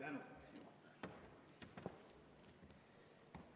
Suur tänu!